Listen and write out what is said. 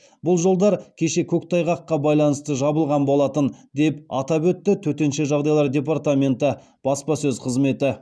бұл жолдар кеше көктайғаққа байланысты жабылған болатын деп атап өтті төтенше жағдайлар департаменті баспасөз қызметі